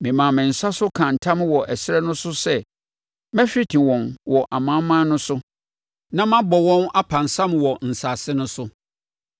Memaa me nsa so kaa ntam wɔ ɛserɛ no so sɛ mɛhwete wɔn wɔ amanaman no so na mabɔ wɔn apansam wɔ nsase no so,